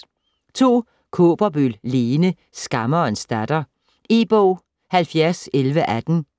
Kaaberbøl, Lene: Skammerens datter E-bog 701118